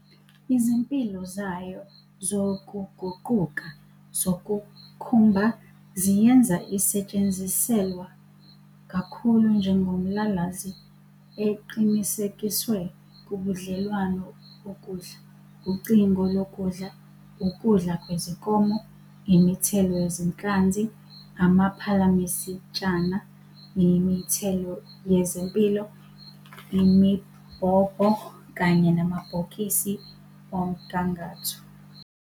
Izimpilo zayo zokuguquka zokukhumba ziyenza isetshenziselwa kakhulu njengomlalazi eqinisekiswe kubudlelwano bokudla, ucingo lwokudla, ukudla kwezinkomo, imithelo yezinhlanzi, amaphalamisitshana, imithelo yezompilo, imibhobho, kanye namabhokisi omgangatho.